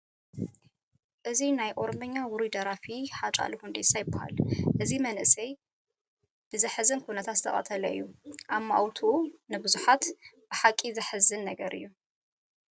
እዚ ናይ ኦሮምኛ ውሩይ ደራፊ ሃጫሉ ሁንዴሳ ይበሃል፡፡ እዚ መንእሰይ ብዘሕዝን ኩነታት ዝተቐተለ እዩ፡፡ ኣማውትኡ ንብዙሓት ብሓቂ ዘሕዘነ ነገር እዩ፡፡